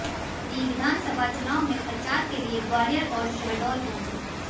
मोदी विधानसभा चुनाव में प्रचार के लिए ग्वालियर और शहडोल पहुंचे